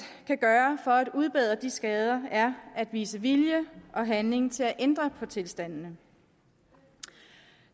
kan gøre for at udbedre de skader er at vise vilje og handling til at ændre på tilstandene